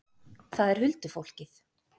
Það er huldufólkið.